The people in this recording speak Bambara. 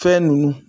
Fɛn ninnu